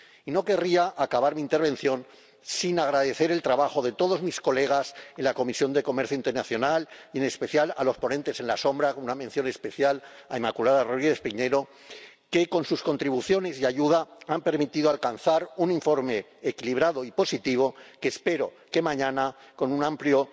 Y no querría acabar mi intervención sin agradecer el trabajo de todos mis colegas en la Comisión de Comercio Internacional, y en especial de los ponentes alternativos —una mención especial a Inmaculada Rodríguez-Piñero que, con sus contribuciones y ayuda, ha permitido alcanzar un informe equilibrado y positivo que espero que mañana, con un amplio